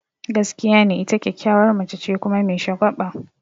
Gaskiya ne, ita kyakkyawar mace ce kuma me shagwaba.